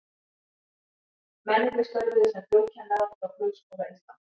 Mennirnir störfuðu sem flugkennarar hjá Flugskóla Íslands.